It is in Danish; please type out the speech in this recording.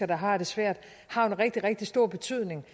der har det svært har en rigtig rigtig stor betydning